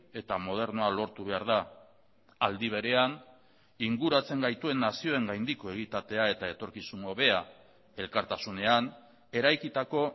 eta modernoa lortu behar da aldi berean inguratzen gaituen nazioengandiko egitatea eta etorkizun hobea elkartasunean eraikitako